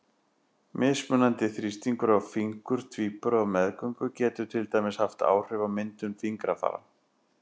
Mismunandi þrýstingur á fingur tvíbura á meðgöngu getur til dæmis haft áhrif á myndun fingrafara.